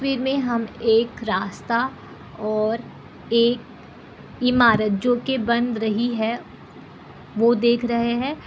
इस तस्वीर मे हम एक रास्ता और एक ईमारत जो की बन रही है वो देख रहे है ।